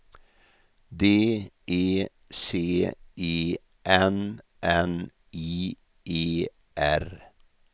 D E C E N N I E R